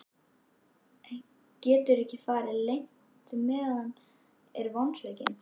Getur ekki farið leynt með að hann er vonsvikinn.